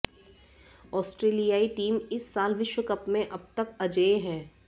आस्ट्रेलियाई team इस साल विश्व कप में अब तक अजेय है